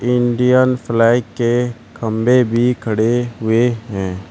Indian flag के खंभे भी खड़े हुए हैं।